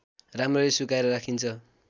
राम्ररी सुकाएर राखिन्छ